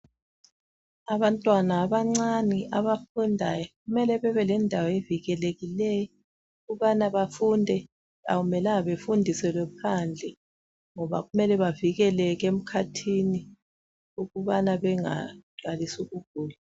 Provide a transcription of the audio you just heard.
Abantwana abancane abafundayo kumele bebe lendawo evikelekileyo ukubana bafunde akumelanga befundise bephandle ngoba kumele bavikeleke emakhathini ukubana bengaqalisi ukugula